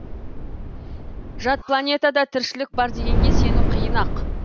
жат планетада тіршілік бар дегенге сену қиын ақ